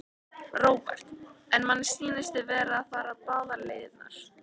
Róbert: En manni sýnist þið vera að fara báðar leiðirnar?